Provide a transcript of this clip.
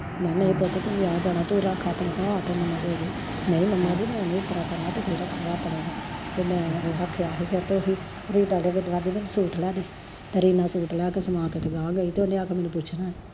ਮੈਂ ਨਹੀਂ ਪੁੱਤ ਤੂੰ ਵਿਆਹ ਜਾਣਾ ਤੂੰ ਰੱਖ ਆਪਣੇ ਕੋਲ ਆਕੇ ਮੈਨੂੰ ਦੇਦੀ, ਨਹੀਂ ਮੰਮਾਂ ਜੀ ਮੈਂ ਨੀ ਇੱਤਰਾਂ ਕਰਨਾ ਤੁਸੀਂ ਰੱਖੋ ਆਪਣੇ ਕੋਲ, ਤੇ ਮੈਂ ਰੱਖਿਆ ਹੀ ਤੇ ਫਿਰ ਓਹੀ ਤੇ ਰੀਨਾ ਸੂਟ ਲਿਆਕੇ ਸਮਾਕੇ ਤੇ ਗਹਾਂ ਗਈ ਓਨੇ ਮੈਨੂੰ ਪੁੱਛਣਾ ਏ